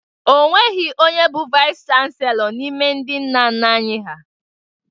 O nweghi onye bụ Vaịsị chanselọ n'ime ndị nna nna anyị ha.